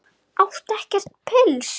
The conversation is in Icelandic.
Áttu ekkert pils?